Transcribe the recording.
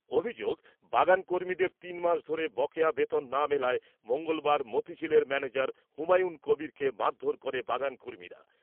অভিযোগ বাগান কর্মীদের তিনমাস ধরে বকেয়া বেতন না মেলায় মঙ্গলবার মতিঝিলের ম্যনেজার হুমায়ুন কবীরকে মারধোর করে বাগান কর্মীরা ।